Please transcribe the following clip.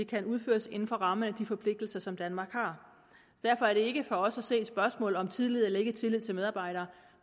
kan udføres inden for rammerne af de forpligtelser som danmark har derfor er det ikke for os at se et spørgsmål om tillid eller ikke tillid til medarbejderne